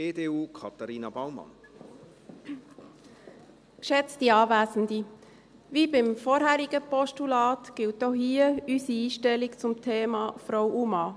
Wie beim vorherigen Postulat gilt auch hier unsere Einstellung zum Thema Frau und Mann: